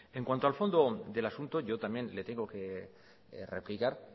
en cuanto al fondo del asunto yo también le tengo que replicar